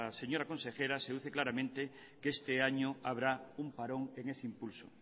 señora consejera se deduce claramente que este año habrá un parón en ese impulso